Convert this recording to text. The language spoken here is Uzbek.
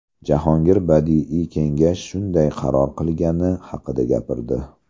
Jahongir badiiy kengash shunday qaror qilgani haqida gapirdi.